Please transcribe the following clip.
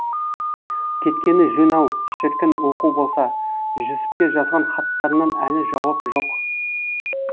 кеткені жөн ау шіркін оқу болса жүсіпке жазған хаттарынан әлі жауап жоқ